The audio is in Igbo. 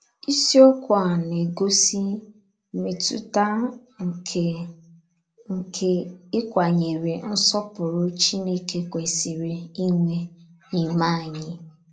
Ìsìòkù a na-egòsí mètùtà nke nke íkwànyèrè nsọ̀pùrù Chìnékè kwèsìrì ínwè n’ímè ányí.